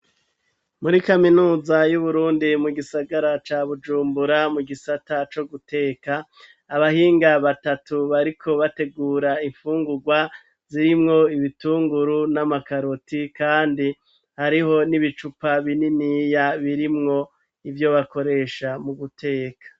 Muri kaminuza y'Uburundi mu gisagara ca Bujumbura mu gisata co guteka, abahinga batatu bariko bategura imfungurwa, zirimwo ibitunguru n'amakaroti kandi, hariho n'ibicupa bininiya birimwo ivyo bakoresha mu guteka.